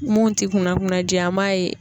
Mun ti kunna kunnaji ye an b'a ye